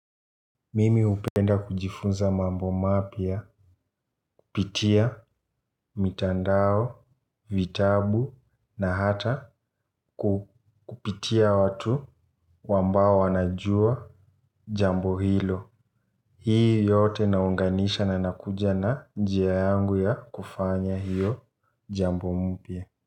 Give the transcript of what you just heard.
Mimi upenda kujifunza mambo mapya, kupitia, mitandao, vitabu, na hata kupitia watu wambao wa najua jambo hilo. Hii yote naunganisha na nakuja na njia yangu ya kufanya hiyo jambo mpya.